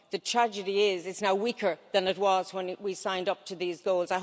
The tragedy is that it's now weaker than it was when it we signed up to these goals.